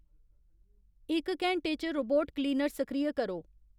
इक घैंटे च रोबोट क्लीनर सक्रिय करो